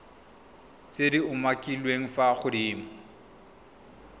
tse di umakiliweng fa godimo